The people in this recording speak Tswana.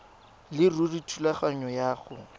leruri thulaganyo ya go